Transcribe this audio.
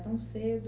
tão cedo.